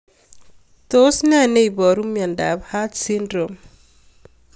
Tos nee neiparu miondop Arts syndrome